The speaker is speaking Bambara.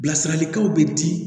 Bilasiralikanw bɛ di